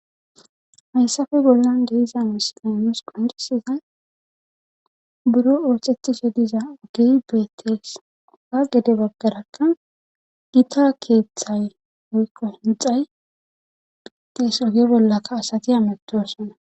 haysape bollan de7iza misile nus qoccissiday buro oosettishe diza ogey beettes;a gede baggarakka gita keethay woykko hinxxay beettes oge bollakka asati hametoosona.